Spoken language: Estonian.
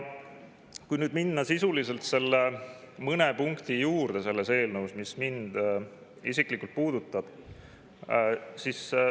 Nüüd lähen sisuliselt nende mõne punkti juurde selles eelnõus, mis mind isiklikult puudutavad.